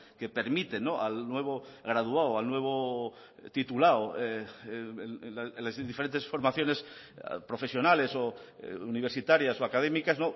que permiten al nuevo graduado al nuevo titulado en las diferentes formaciones profesionales o universitarias o académicas